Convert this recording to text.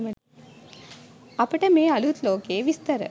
අපට මේ අලුත් ලෝකයේ විස්තර